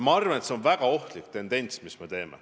Ma arvan, et see on väga ohtlik tendents, mis praegu on.